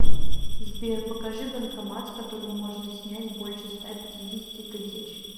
сбер покажи банкомат с которого можно снять больше ста пятидесяти тысяч